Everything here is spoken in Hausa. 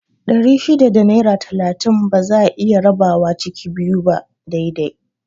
Ɗari shida da naira talatin ba za'a iya rabawa ciki biyu ba dai dai